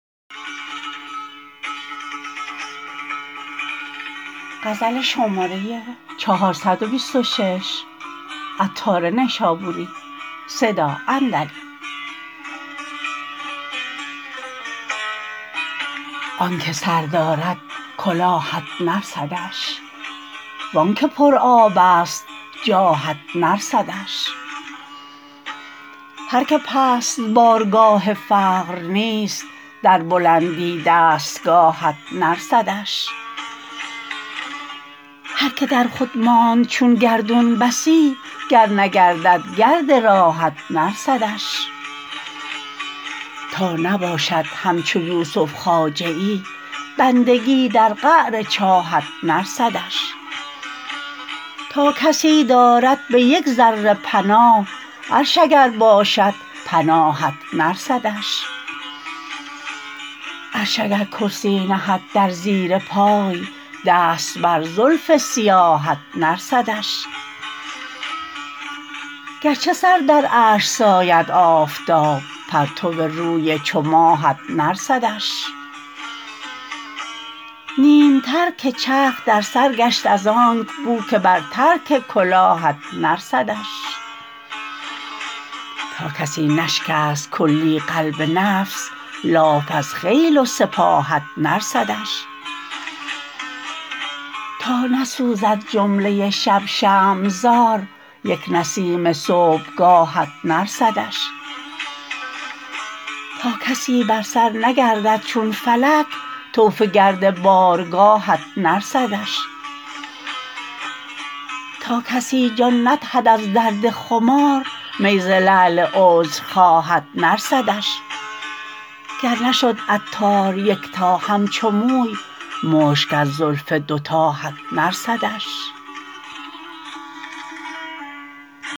آنکه سر دارد کلاهت نرسدش وانکه پر آب است جاهت نرسدش هر که پست بارگاه فقر نیست در بلندی دستگاهت نرسدش هر که در خود ماند چون گردون بسی گر نگردد گرد راهت نرسدش تا نباشد همچو یوسف خواجه ای بندگی در قعر چاهت نرسدش تا کسی دارد به یک ذره پناه عرش اگر باشد پناهت نرسدش عرش اگر کرسی نهد در زیر پای دست بر زلف سیاهت نرسدش گرچه سر در عرش ساید آفتاب پرتو روی چو ماهت نرسدش نیم ترک چرخ در سر گشت از آنک بو که بر ترک کلاهت نرسدش تا کسی نشکست کلی قلب نفس لاف از خیل و سپاهت نرسدش تا نسوزد جمله شب شمع زار یک نسیم صبحگاهت نرسدش تا کسی بر سر نگردد چون فلک طوف گرد بارگاهت نرسدش تا کسی جان ندهد از درد خمار می ز لعل عذر خواهت نرسدش گر نشد عطار یکتا همچو موی مشک از زلف دو تاهت نرسدش